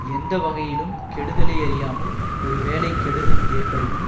எந்த வகையிலும் கெடுதலை அறியாமல் ஒரு வேளை கெடுதல் ஏற்படினும்